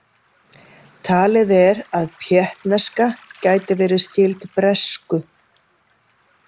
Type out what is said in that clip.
Talið er að péttneska gæti verið skyld bresku.